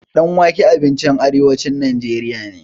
Ɗan wake abincin arewacin najeriya ne.